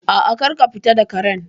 A'a, kar ka fita da Karen